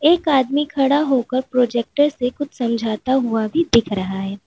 एक आदमी खड़ा होकर प्रोजेक्टर से कुछ समझाता हुआ भी दिख रहा है।